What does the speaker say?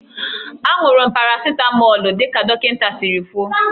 Aṅụrụ m paracịtamọlụ dị ka dọkịta siri kwuo.